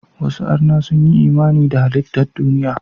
Wasu arna sun yi imani da halittan duniya.